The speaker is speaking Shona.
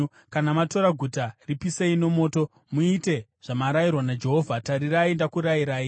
Kana matora guta, ripisei nomoto. Muite zvamarayirwa naJehovha, tarirai, ndakurayirai.”